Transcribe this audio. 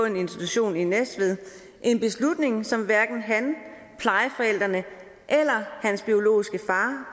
en institution i næstved en beslutning som hverken han plejeforældrene eller hans biologiske far